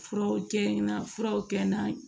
Furaw kɛ na furaw kɛ n na